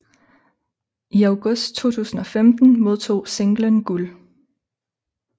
I august 2015 modtog singlen guld